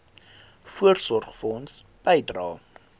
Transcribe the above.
voorsorgfonds bydrae